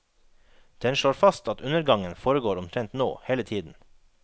Den slår fast at undergangen foregår omtrent nå, hele tiden.